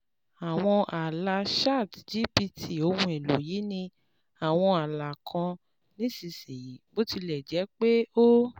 Àwọn ààlà ChatGPT Ohun èlò yìí ní àwọn ààlà kan nísinsìnyí, bó tilẹ̀ jẹ́ pé ó